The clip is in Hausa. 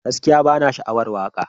Gaskiya bana sha'awar waka.